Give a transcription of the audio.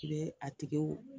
I be a tiguw